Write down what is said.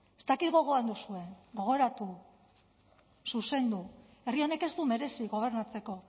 ez dakit gogoan duzuen gogoratu zuzendu herri honek ez du merezi gobernatzeko